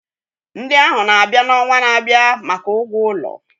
Ndị ahụ na-abịa n'ọnwa na-abịa maka ụgwọ ụlọ.